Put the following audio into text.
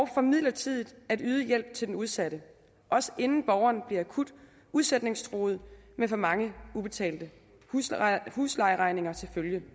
for midlertidigt at yde hjælp til den udsatte også inden borgeren bliver akut udsætningstruet med for mange ubetalte huslejeregninger til følge